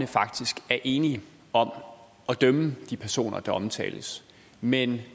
faktisk er enige om at dømme de personer der omtales mens